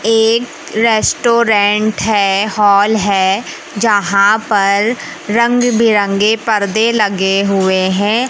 एक रेस्टोरेंट है हॉल है जहां पर रंग बिरंगे पर्दे लगे हुए है।